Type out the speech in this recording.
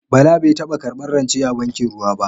Bala bai taba karbar rance a bankin ruwa ba.